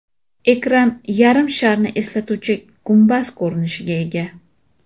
Ekran yarim sharni eslatuvchi gumbaz ko‘rinishiga ega.